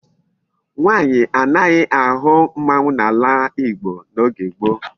Nwaanyi anaghi ahu mmanwu n'ala igbo n'oge gboo